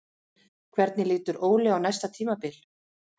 Hvernig lítur Óli á næsta tímabil?